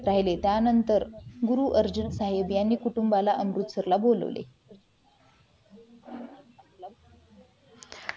त्यानंतर गुरु अर्जुन साहेब यांनी कुटुंबाला अमृतसरला बोलावले